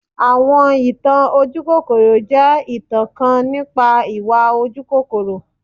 Awọn itan ojukokoro jẹ itan kan nipa iwa ojukokoro.